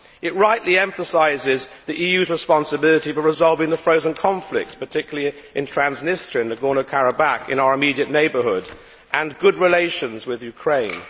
It rightly emphasises the EU's responsibility for resolving the frozen conflicts, particularly in Transnistria and Nagorno Karabakh in our immediate neighbourhood, and good relations with Ukraine.